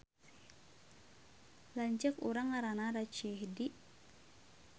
Lanceuk urang ngaranna Rachidi